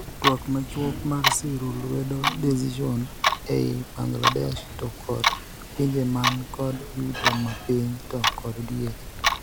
Twak machuok mar siro lwedo decision ei Bangladesh to kod pinje man kod yuto ma piny to kod diere